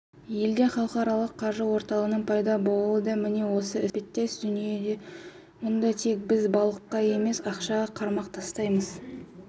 елде халықаралық қаржы орталығының пайда болуы да міне осы іспеттес дүние мұнда тек біз балыққа емес ақшаға қармақ тастайсыз